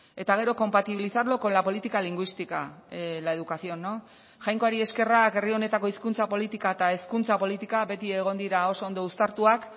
eta gero compatibilizarlo con la política lingüística la educación jainkoari eskerrak herri honetako hizkuntza politika eta hezkuntza politika beti egon dira oso ondo uztartuak